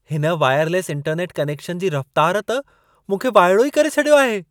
हिन wireless internet connection जी रफ़्तार त मूंखे वाइड़ो ई करे छडि॒यो आहे!